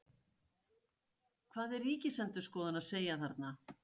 Hvað er Ríkisendurskoðun að segja þarna?